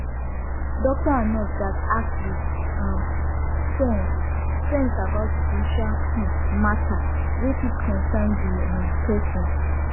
doctor and nurse gatz ask with um sense sense about spiritual um matter wey fit concern the um person